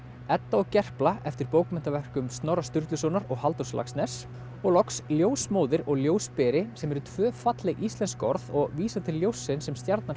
Edda og Gerpla eftir bókmenntaverkum Snorra Sturlusonar og Halldórs Laxness og loks ljósmóðir og ljósberi sem eru tvö falleg íslensk orð og vísa til ljóssins sem stjarnan